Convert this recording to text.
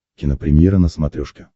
кинопремьера на смотрешке